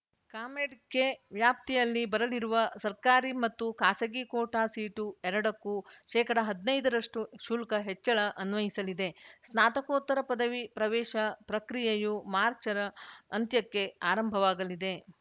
ಕಾಮೆಡ್‌ K ವ್ಯಾಪ್ತಿಯಲ್ಲಿ ಬರಲಿರುವ ಸರ್ಕಾರಿ ಮತ್ತು ಖಾಸಗಿ ಕೋಟಾ ಸೀಟು ಎರಡಕ್ಕೂ ಶೇಕಡಹದ್ನೈದ ರಷ್ಟುಶುಲ್ಕ ಹೆಚ್ಚಳ ಅನ್ವಯಿಸಲಿದೆ ಸ್ನಾತಕೋತ್ತರ ಪದವಿ ಪ್ರವೇಶ ಪ್ರಕ್ರಿಯೆಯು ಮಾರ್ಚರ ಅಂತ್ಯಕ್ಕೆ ಆರಂಭವಾಗಲಿದೆ